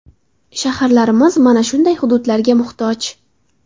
Shaharlarimiz mana shunday hududlarga muhtoj.